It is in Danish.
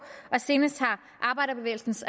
og senest har arbejderbevægelsens